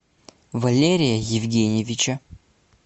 валерия евгеньевича